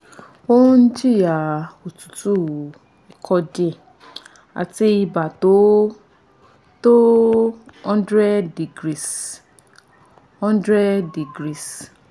ó ń jìyà otutu ikọ́ díẹ̀ àti ibà tó tó one hundred degrees one hundred degrees